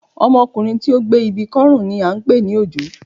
Ọmọkùnrin tí ó gbé ibi kọ́ ọrùn ni à ń pè ní òjó